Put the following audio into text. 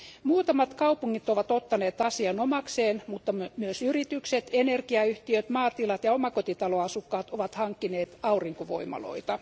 Muutamat kaupungit ovat ottaneet asian omakseen, mutta myös yritykset, energiayhtiöt, maatilat ja omakotitaloasukkaat ovat hankkineet aurinkovoimaloita.